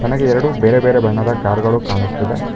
ನನಗೆ ಎರಡು ಬೇರೆ ಬೇರೆ ಬಣ್ಣದ ಕಾರುಗಳು ಕಾಣಿಸ್ತಿದೆ.